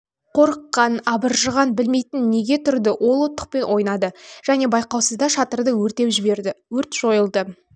қорыққан абыржыған білмейтін неге тұрды ол оттықпен ойнады және байқаусызда шатырды өртеп жіберді өрт жойылды